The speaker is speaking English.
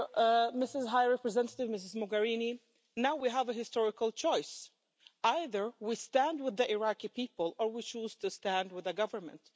Addressing the High Representative, Ms Mogherini, now we have a historical choice either we stand with the Iraqi people or we choose to stand with the government.